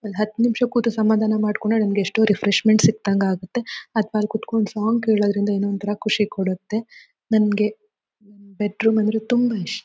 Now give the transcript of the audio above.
ಒಂದ್ ಹತ್ತು ನಿಮಿಷ ಕೂತು ಸಮಾಧಾನ ಮಾಡಕೊಂಡು ನಮಗೆ ಎಷ್ಟೋ ರಿಫ್ರೆಷ್ಮೆನ್ಟ್ ಸಿಕ್ಕದಂಗಾಗುತ್ತೆ ಅತ್ವಾ ಅಲ್ ಕೂತ್ಕೊಂಡ್ ಸಾಂಗ್ ಕೇಳೋದ್ರಿಂದ ಏನೋ ಒಂತರಾ ಖುಷಿ ಕೊಡುತ್ತೆ ನಮಗೆ ಬೆಡ್ ರೂಮ್ ಅಂದ್ರೆ ತುಂಬಾ ಇಷ್--.